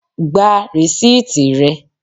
Gba rìsíìtì rẹ!